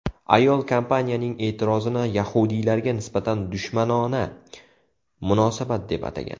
Ayol kompaniyaning e’tirozini yahudiylarga nisbatan dushmanona munosabat deb atagan.